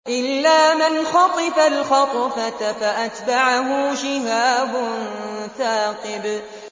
إِلَّا مَنْ خَطِفَ الْخَطْفَةَ فَأَتْبَعَهُ شِهَابٌ ثَاقِبٌ